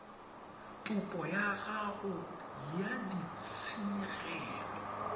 topo ya gago ya ditshenyegelo